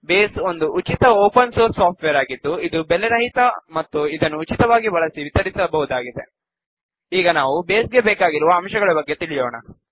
base ಒಂದು ಉಚಿತ open source software ಆಗಿದ್ದು ಇದು ಬೆಲೆರಹಿತ ಮತ್ತು ಇದನ್ನುಉಚಿತವಾಗಿ ಬಳಸಿ ವಿತರಿಸಬಹುದಾಗಿದೆ ಈಗ ನಾವು ಬೇಸ್ ಗೆ ಬೇಕಾಗಿರುವ ಅಂಶಗಳ ಬಗ್ಗೆ ತಿಳಿಯೋಣ